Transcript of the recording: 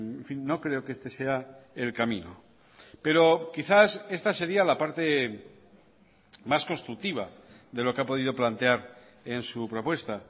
en fin no creo que este sea el camino pero quizás esta sería la parte más constructiva de lo que ha podido plantear en su propuesta